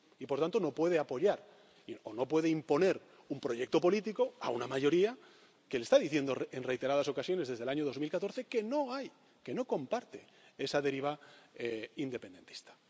Y, por tanto, no puede apoyar, o no puede imponer un proyecto político a una mayoría que le está diciendo en reiteradas ocasiones, desde el año 2014, que no comparte esa deriva independentista.